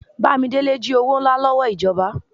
Bámidélé ji owó ńlá lòwó ijọba